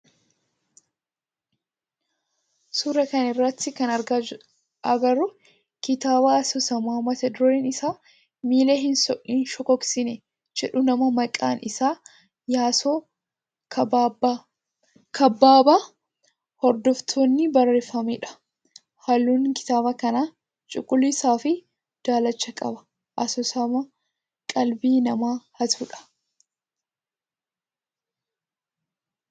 Suuraa kana irratti kan agarru kitaaba asoosamaa mata dureen isaa miila hin shokoksine jedhu nama maqaan isaa Yaasoo Kabbabaa Hordofaatin barreffameedha. Halluun kitaaba kana cuquliisa fi daalacha qaba. Asoosama qalbii namaa hatudha.